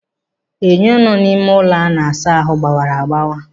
Enyo nọ n'ime ụlọ a na-asa ahụ gbawara agbawa.